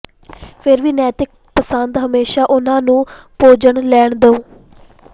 ਫਿਰ ਵੀ ਨੈਤਿਕ ਪਸੰਦ ਹਮੇਸ਼ਾ ਉਨ੍ਹਾਂ ਨੂੰ ਭੋਜਨ ਲੈਣ ਦਿਓ